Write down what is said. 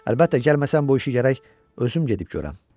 Əlbəttə, gəlməsən bu işi gərək özüm gedib görəm.